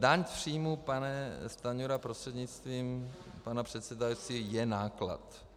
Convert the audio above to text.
Daň z příjmů, pane Stanjuro prostřednictvím pana předsedající, je náklad.